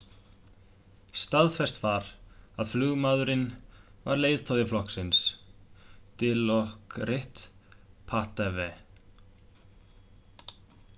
staðfest var að flugmaðurinn var leiðtogi flokksins dilokrit pattavee